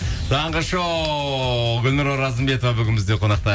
таңғы шоу гүлнұр оразымбетова бүгін бізде қонақта